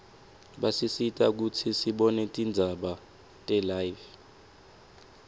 basisita kutsi sibone tindzaba telive